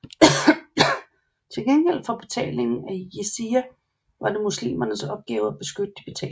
Til gengæld for betalingen af Jizya var det muslimernes opgave at beskytte de betalende